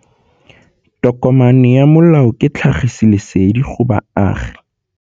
Tokomane ya molao ke tlhagisi lesedi go baagi.